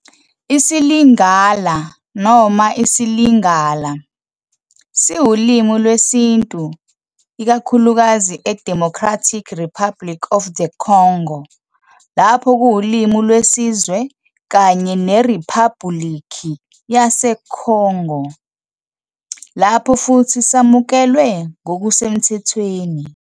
IsiLingala, noma isiLingala, siwulimi lwesiNtu ikakhulukazi eDemocratic Republic of the Congo lapho kuwulimi lwesizwe kanye neRiphabhulikhi yaseCongo lapho futhi samukelwe ngokusemthethweni.